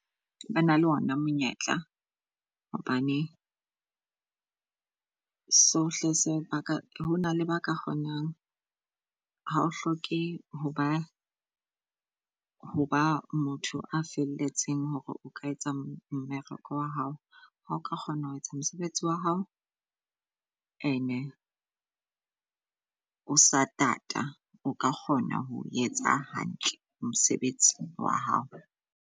Ba na le ona monyetla hobane sohle se ba ka hona le ba ka kgonang ha o hloke hoba hoba motho a felletseng hore o ka etsa mmereko wa hao. Ha oka kgona ho etsa mosebetsi wa hao ene o satata, o ka kgona ho etsa hantle mosebetsi wa hao.